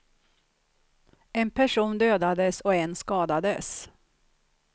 En person dödades och en skadades.